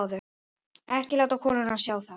Ekki láta konuna sjá það.